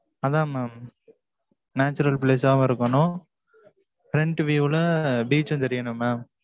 அதான் mam natural place ஆவும் இருக்கனும். Front view ல beach உம் தெரியனும் mam